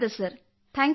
thank you sir